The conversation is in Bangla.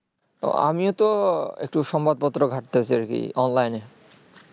আমিও তো একটু সংবাদপত্র ঘাটতেছি আর কি online এ